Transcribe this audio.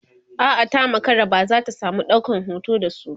a'a ta makara ba zata samu ɗaukan hoton da su ba